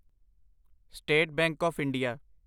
state Bank of India